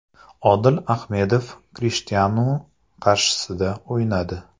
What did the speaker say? Odil Ahmedov Krishtianu qarshisida o‘ynadi.